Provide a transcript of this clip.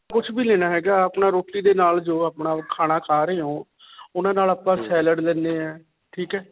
ਕੁਝ ਵੀ ਲੈਣਾ ਹੈਗਾ. ਅਪਣਾ ਰੋਟੀ ਦੇ ਨਾਲ ਜੋ ਅਪਣਾ ਖਾਣਾ ਖਾ ਰਹੇ ਹੋ. ਉਨ੍ਹਾਂ ਨਾਲ ਆਪਾਂ salad ਲੈਂਦੇ ਹਾਂ. ਠੀਕ ਹੈ.